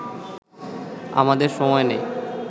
আমাদের সময় নেই